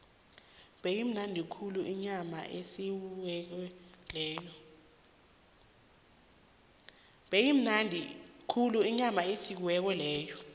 beyimnandi khulu inyama eyosiweko leya